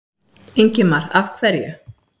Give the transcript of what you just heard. Ingimar: Af hverju?